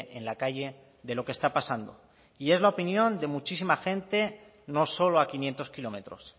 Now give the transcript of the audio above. en la calle de lo que está pasando y es la opinión de muchísima gente no solo a quinientos kilómetros